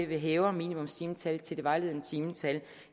vi hæver minimumstimetallet til det vejledende timetal